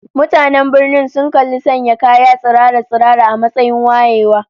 Mutanen birnin sun kalli sanya kaya tsirara-tsirara a matsayin wayewa